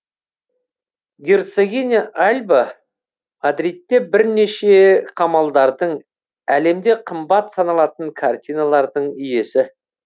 герцогиня альба мадридте бірнеше қамалдардың әлемде қымбат саналатын картиналардың иесі